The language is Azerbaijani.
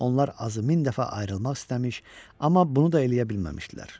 Onlar azı min dəfə ayrılmaq istəmiş, amma bunu da eləyə bilməmişdilər.